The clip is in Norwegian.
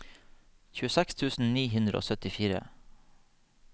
tjueseks tusen ni hundre og syttifire